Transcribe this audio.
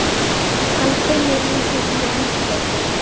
Hann kunni lítið í ensku.